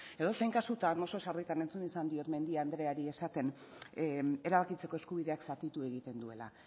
edozein kasutan oso sarritan entzun izan dut mendia andreari esaten erabakitzeko eskubideak zatitu egiten duela